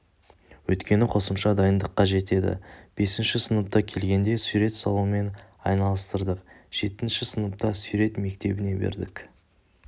өйткені қосымша дайындық қажет еді бесінші сыныпқа келгенде сурет салумен айналыстырдық жетінші сыныпта сурет мектебіне бердік